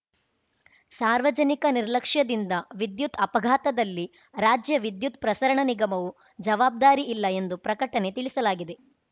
ಸಾರ್ವಜನಿಕ ನಿರ್ಲಕ್ಷ್ಯದಿಂದ ವಿದ್ಯುತ್‌ ಅಪಘಾತದಲ್ಲಿ ರಾಜ್ಯ ವಿದ್ಯುತ್‌ ಪ್ರಸರಣ ನಿಗಮವು ಜವಾಬ್ದಾರಿಯಿಲ್ಲ ಎಂದು ಪ್ರಕಟಣೆ ತಿಳಿಸಲಾಗಿದೆ